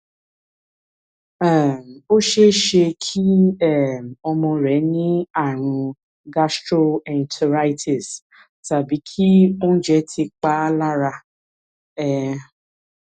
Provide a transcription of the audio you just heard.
um ó ṣeé ṣe kí um ọmọ rẹ ní ààrùn gastroenteritis tàbí kí oúnjẹ ti pa á lára um